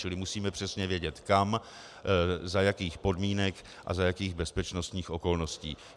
Čili musíme přesně vědět kam, za jakých podmínek a za jakých bezpečnostních okolností.